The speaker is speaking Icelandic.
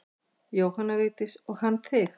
Jóhanna Vigdís: Og hann þig?